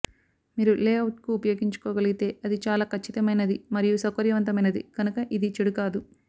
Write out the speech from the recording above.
మీరు లేఅవుట్కు ఉపయోగించుకోగలిగితే అది చాలా ఖచ్చితమైనది మరియు సౌకర్యవంతమైనది కనుక ఇది చెడు కాదు